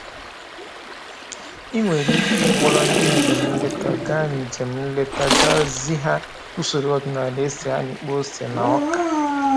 I nwere ike ịkpọrọ ndị njem nleta gaa njem nleta gaa zi ha usoro ọdịnaala e si amịkpọ ose na ọka